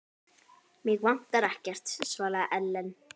Mig vantar ekkert, svaraði Ellen.